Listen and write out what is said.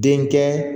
Den kɛ